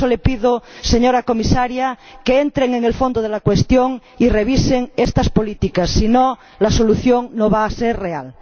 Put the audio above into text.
Por eso le pido, señora Comisaria, que entren en el fondo de la cuestión y revisen estas políticas. Si no, la solución no va a ser real.